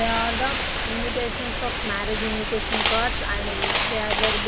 they are the invistations of marriage invitation cards and they are very dif-